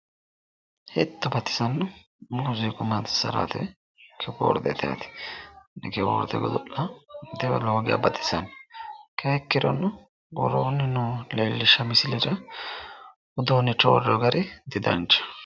Hetto leelishano muziiqa godo'linanni kibbordeti lowo geeshsha baxisano Kayyinni ikkirono worooni noo misilera uduunicho woroonni gari didanchaho